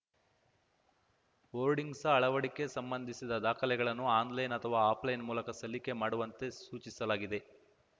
hoardings ಅಳವಡಿಕೆ ಸಂಬಂಧಿಸಿದ ದಾಖಲೆಗಳನ್ನು ಆನ್‌ಲೈನ್‌ ಅಥವಾ ಆಫ್‌ಲೈನ್‌ ಮೂಲಕ ಸಲ್ಲಿಕೆ ಮಾಡುವಂತೆ ಸೂಚಿಸಲಾಗಿದೆ